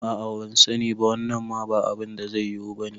A'a bansani ba, wannan ma ba abinda zai yiwu bane